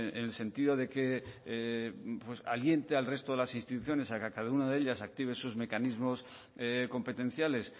en el sentido de que aliente al resto de las instituciones a que cada una de ellas active sus mecanismos competenciales